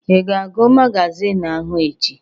Ị ga-agụ magazin ahụ echi?